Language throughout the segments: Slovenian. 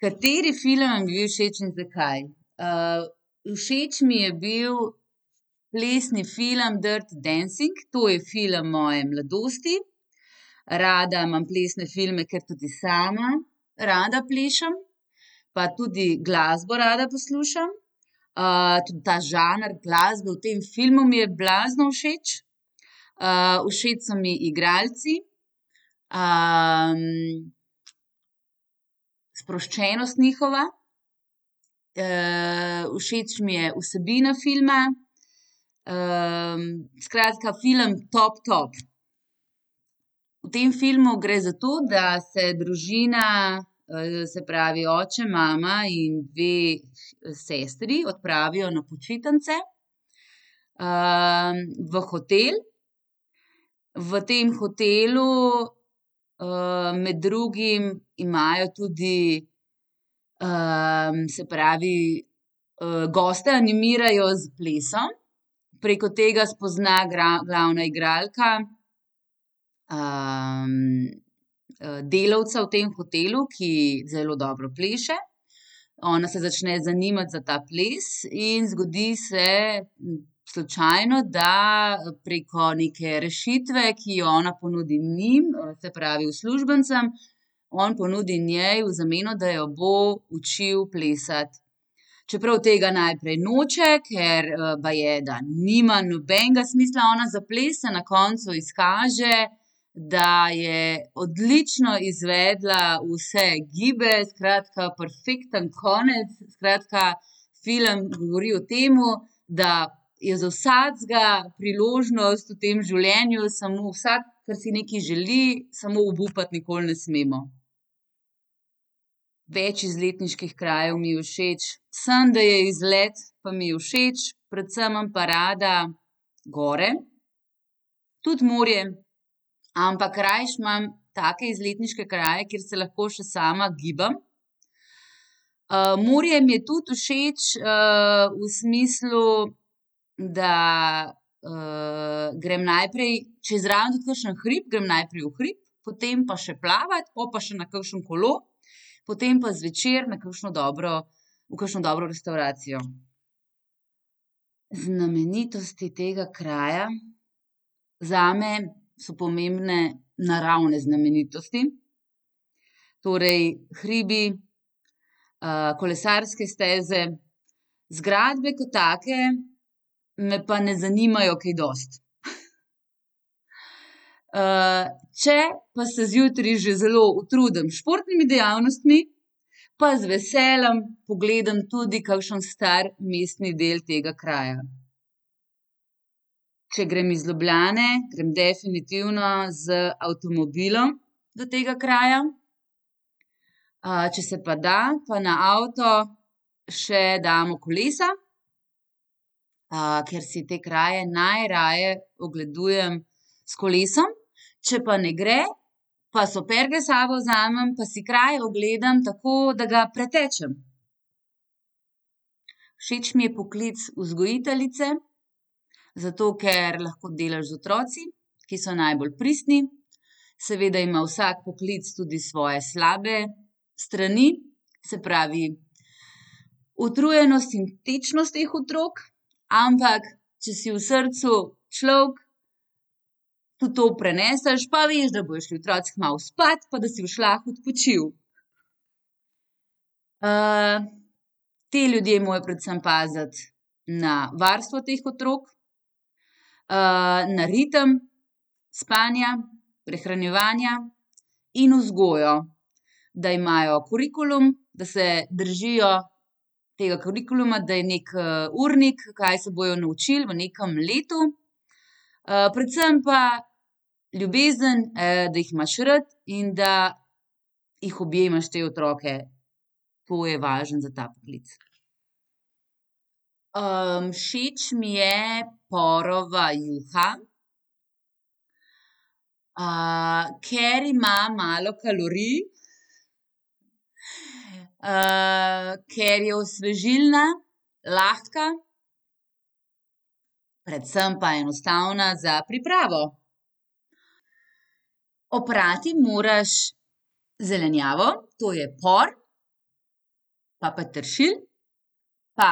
Kateri film vam je bil všeč in zakaj? všeč mi je bil plesni film Dirty dancing. To je film moje mladosti. Rada imam plesne filme, ker tudi sama rada plešem. Pa tudi glasbo rada poslušam. tudi ta žanr glasbe v tem filmu mi je blazno všeč. všeč so mi igralci, sproščenost njihova. všeč mi je vsebina filma, skratka, film top, top. V tem filmu gre za to, da se družina, se pravi, oče, mama in dve sestri odpravijo na počitnice, v hotel. V tem hotelu, med drugim imajo tudi, se pravi, goste animirajo s plesom. Preko tega spozna glavna igralka, delavca v tem hotelu, ki zelo dobro pleše. Ona se začne zanimati za ta ples in zgodi se slučajno, da preko neke rešitve, ki jo ona ponudi njim, se pravi uslužbencem, on ponudi njej v zameno, da jo bo učil plesati. Čeprav tega najprej noče, ker, baje, da nima nobenega smisla ona za ples, se na koncu izkaže, da je odlično izvedla vse gibe, skratka perfekten konec, skratka, film govori o tem, da je za vsakega priložnost v tem življenju, samo vsak, ke si nekaj želi, samo obupati nikoli ne smemo. Več izletniških krajev mi je všeč. Samo, da je izlet, pa mi je všeč. Predvsem imam pa rada gore. Tudi morje. Ampak rajši imam take izletniške kraje, kjer se lahko še sama gibam. morje mi je tudi všeč, v smislu, da, grem najprej, če je zraven tudi kakšen hrib, grem najprej v hrib, potem pa še plavat, po pa še na kakšno kolo. Potem pa zvečer na kakšno dobro, v kakšno dobro restavracijo. Znamenitosti tega kraja. Zame so pomembne naravne znamenitosti. Torej hribih, kolesarske steze. Zgradbe kot take me pa ne zanimajo kaj dosti. če pa se zjutraj že zelo utrudim s športnimi dejavnostmi, pa z veseljem pogledam tudi kakšen star mestni del tega kraja. Če grem iz Ljubljane, grem definitivno z avtomobilom do tega kraja. če se pa da, pa na avto še damo kolesa, ker si te kraje najraje ogledujem s kolesom. Če pa ne gre, pa superge s sabo vzamem, pa si kraj ogledam tako, da ga pretečem. Všeč mi je poklic vzgojiteljice, zato ker lahko delaš z otroki, ki so najbolj pristni. Seveda ima vsak poklic tudi svoje slabe strani. Se pravi, utrujenost in tečnost teh otrok. Ampak če si v srcu človek, tudi to preneseš. Pa veš, da bojo šli otroci kmalu spat, pa da si boš lahko odpočil. te ljudje morajo predvsem paziti na varstvo teh otrok, na ritem spanja, prehranjevanja, in vzgojo. Da imajo kurikulum, da se držijo tega kurikuluma, da je neki, urnik, kaj se bojo naučili v nekem letu. predvsem pa ljubezen, da jih imaš rad in da jih objemaš, te otroke. To je važno za ta poklic. všeč mi je porova juha. ker ima malo kalorij, ker je osvežilna, lahka, predvsem pa enostavna za pripravo. Oprati moraš zelenjavo, to je par, pa peteršilj, pa,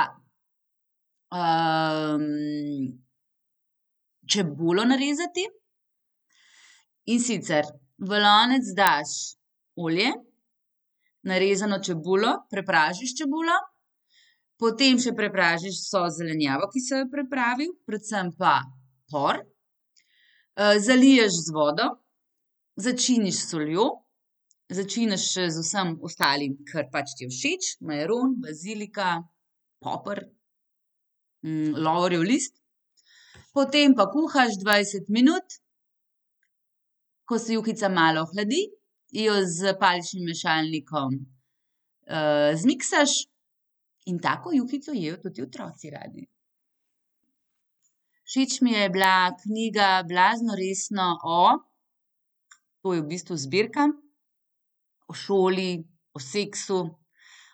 čebulo narezati. In sicer v lonec daš olje, narezano čebulo. Prepražiš čebulo. Potem še prepražiš vso zelenjavo, ki si jo pripravil, predvsem pa por. zaliješ z vodo, začiniš s soljo, začiniš še z vsem ostalim, kar pač ti je všeč. Majaron, bazilika, poper, lovorjev list. Potem pa kuhaš dvajset minut. Ko se juhica malo ohladi, jo s paličnim mešalnikom, zmiksaš in tako juhico jejo tudi otroci radi. Všeč mi je bila knjiga Blazno resno o ... To je v bistvu zbirka. O šoli, o seksu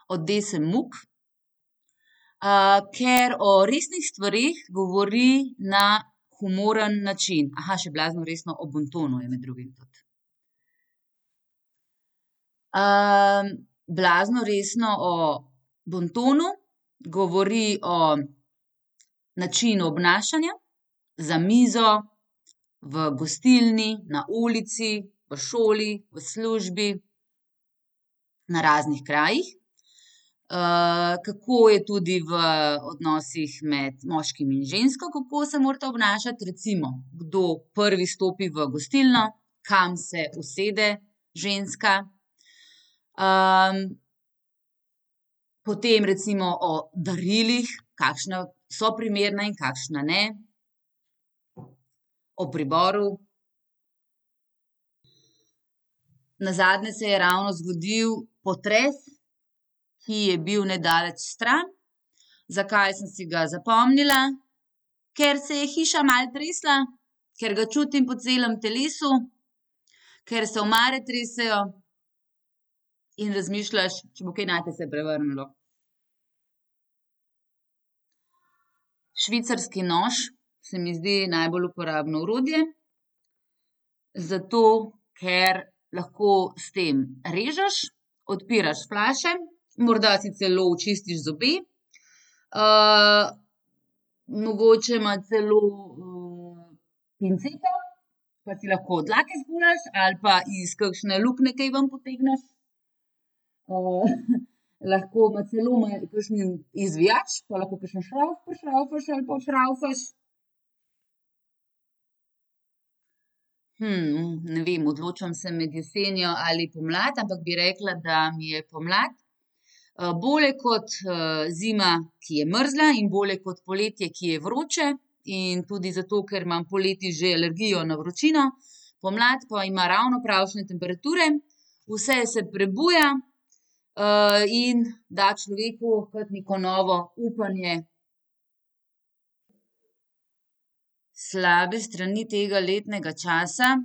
od Dese Muck. ker o resnih stvareh govori na humoren način. še Blazno resno o bontonu je med drugim tudi. Blazno resno o bontonu govori o načinu obnašanja za mizo, v gostilni, na ulici, v šoli, v službi. Na raznih krajih. kako je tudi v odnosih med moškim in žensko, kako se morata obnašati. Recimo, kdo prvi stopi v gostilno, kam se usede ženska. potem recimo o darilih, kakšna so primerna in kakšna ne. O priboru. Nazadnje se je ravno zgodil potres, ki je bil nedaleč stran. Zakaj sem si ga zapomnila? Ker se je hiša malo tresla, ker ga čutim po celem telesu, ker se omare tresejo in razmišljaš, če bo kaj nate se prevrnilo. Švicarski nož se mi zdi najbolj uporabno orodje. Zato ker lahko s tem režeš, odpiraš flaše, morda si celo očistiš zobe. mogoče ima celo, pinceto, pa si lahko dlake spuliš ali pa iz kakšne luknje kaj ven potegneš. lahko ima celo ima kakšen izvijač, pa lahko kakšen šravf prišravfaš ali pa odšravfaš. ne vem, odločam se med jesenjo ali pomladjo, ampak bi rekla, da mi je pomlad. bolje kot, zima, ki je mrzla, in bolje kot poletje, ki je vroče. In tudi zato, ker imam poleti že alergijo na vročino. Pomlad pa ima ravno pravšnje temperature. Vse se prebuja, in da človeku kot neko novo upanje. Slabe strani tega letnega časa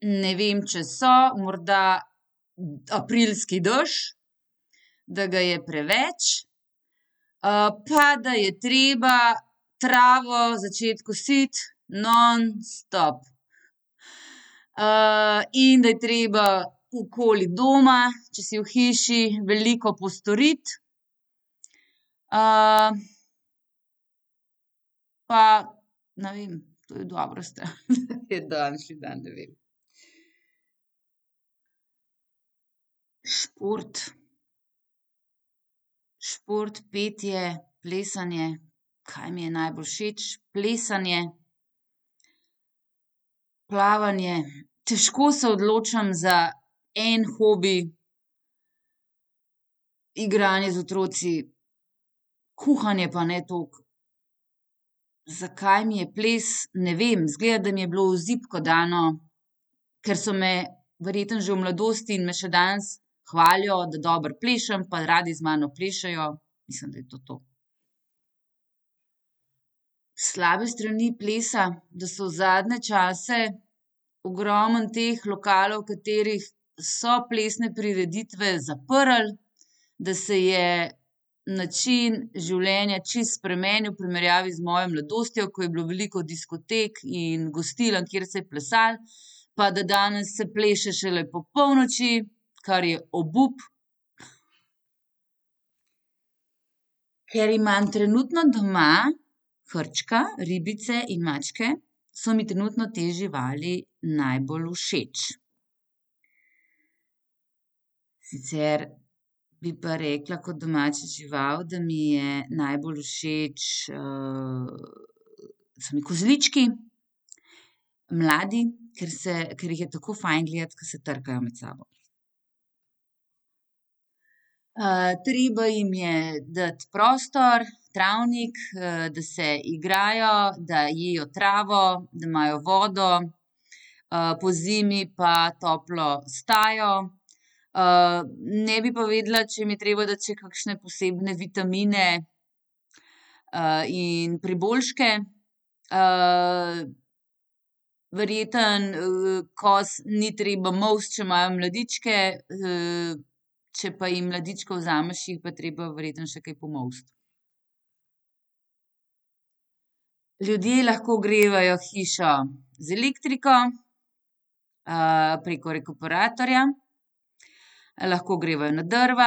ne vem, če so. Morda aprilski dež, da ga je preveč, pa da je treba travo začeti kositi nonstop. in da je treba okoli doma, če si v hiši, veliko postoriti. pa ne vem, to je dobra stran, ke je daljši dan, ne vem. Šport. Šport, petje, plesanje. Kaj mi je najbolj všeč? Plesanje, plavanje, težko se odločim za en hobi, igranje z otroki. Kuhanje pa ne toliko. Zakaj mi je ples? Ne vem, izgleda, da mi je bilo v zibko dano, ker so me verjetno že v mladosti in me še danes hvalijo, da dobro plešem, pa radi z mano plešejo. Mislim, da je to to. Slabe strani plesa. Da so zadnje čase ogromno teh lokalov, v katerih so plesne prireditve, zaprli. Da se je način življenja čisto spremenil v primerjavi z mojo mladostjo, ko je bilo veliko diskotek in gostiln, kjer se je plesali. Pa da danes se pleše šele po polnoči, kar je obup. Ker imam trenutno doma hrčka, ribice in mačke, so mi trenutno te živali najbolj všeč. Sicer bi pa rekla kot domača žival, da mi je najbolj všeč, so mi kozlički mladi, ker se, ker jih je tako fajn gledati, ke se trkajo med sabo. treba jim je dati prostor, travnik, da se igrajo, da jejo travo, da imajo vodo. pozimi pa toplo stajo. ne bi pa vedela, če jim je treba dati še kakšne posebne vitamine, in priboljške. verjetno, koz ni treba molsti, če imajo mladičke. če pa jim mladička vzameš, je pa treba verjetno še kaj pomolsti. Ljudje lahko ogrevajo hišo z elektriko, preko rekuperatorja. Lahko ogrevajo na drva,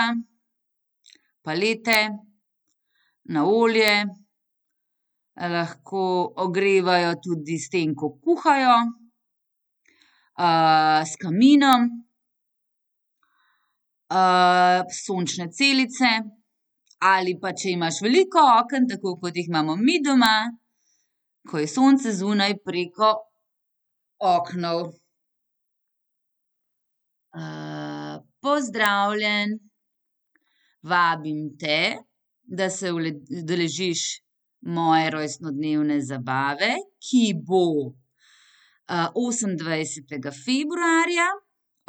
palete, na olje, lahko ogrevajo tudi s tem, ko kuhajo, s kaminom, sončne celice, ali pa, če imaš veliko oken, tako kot jih imamo mi doma, ko je sonce zunaj, preko oken. pozdravljen. Vabim te, da se udeležiš moje rojstnodnevne zabave, ki bo, osemindvajsetega februarja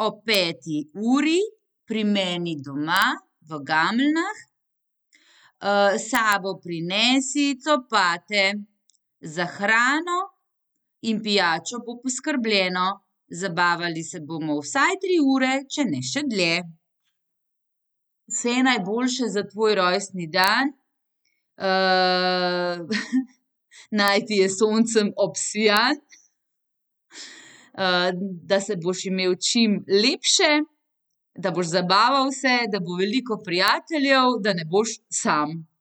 ob peti uri pri meni doma v Gameljnah. s sabo prinesi copate. Za hrano in pijačo bo poskrbljeno. Zabavali se bomo vsaj tri ure, če ne še dlje. Vse najboljše za tvoj rojstni dan. naj ti je s soncem obsijan. da se boš imel čim lepše, da boš zabaval se, da bo veliko prijateljev, da ne boš sam.